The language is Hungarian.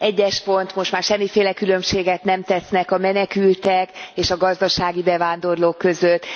1. pont Most már semmiféle különbséget nem tesznek a menekültek és a gazdasági bevándorlók között,